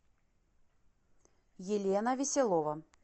елена веселова